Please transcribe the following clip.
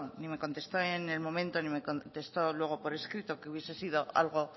ni me contestó en el momento ni me contestó luego por escrito que hubiese sido algo